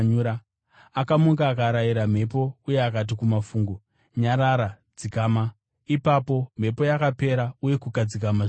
Akamuka, akarayira mhepo uye akati kumafungu, “Nyarara! Dzikama!” Ipapo mhepo yakapera uye kukadzikama zvikuru.